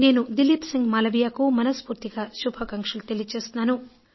నేను దిలీప్ సిన్హ్ మాలవీయకు మనస్ఫూర్తిగా శుభాకాంక్షలు తెలియజేస్తున్నాను